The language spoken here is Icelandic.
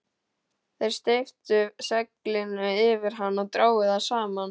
Þeir steyptu seglinu yfir hann og drógu það saman.